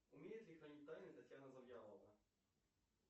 умеет ли хранить тайны татьяна завьялова